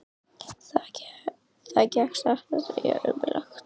Það gekk satt að segja ömurlega.